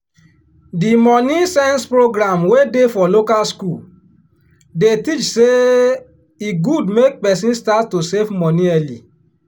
di money-sense program wey dey for local school dey teach say e good make person start to save money early.